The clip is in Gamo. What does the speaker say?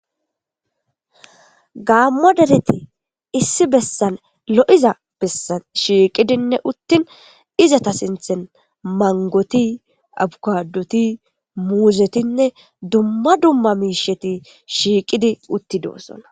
Gaammo dereti issi bessan lo'iza bessan shiiqidinne uttin izata sinthen mangoti, abukadoti ,muuzetinne dumma dumma miisheti shiiqidi uttidosona.